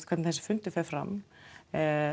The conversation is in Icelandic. hvernig þessi fundur fer fram